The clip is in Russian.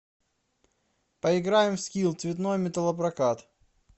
поиграем в скилл цветной металлопрокат